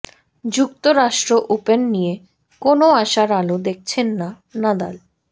যুক্তরাষ্ট্র ওপেন নিয়ে কোনও আশার আলো দেখছেন না নাদাল